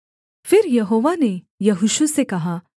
फिर यहोवा ने यहोशू से कहा